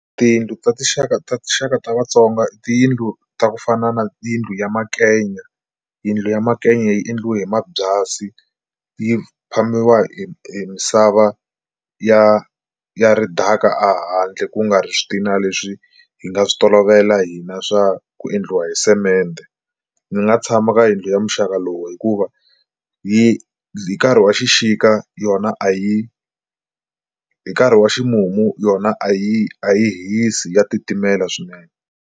Tiyindlu ta tinxaka ta tinxaka ta vatsonga i tiyindlu ta ku fana na tiyindlu ya makenya. Yindlu ya makenya yi endliwe hi mabyasi yi phamiwa hi hi misava ya ya ridaka a handle ku nga ri swi ti na leswi hi nga swi tolovela hina swa ku endliwa hi semende. Ni nga tshama ka yindlu ya muxaka lowu hikuva hi hi nkarhi wa xixika yona a yi hi nkarhi wa ximumu yona a yi a yi hisi ya titimela swinene.